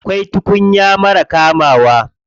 Akwai tukuya marar kamawa.